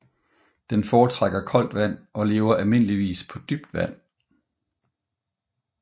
Den foretrækker koldt vand og lever almindeligvis på dybt vand